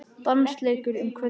Dansleikur um kvöldið.